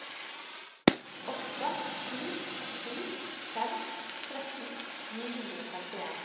åtte sju sju fem tretten ni hundre og femtien